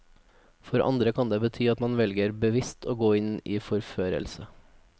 For andre kan det bety at man velger bevisst å gå inn i forførelse.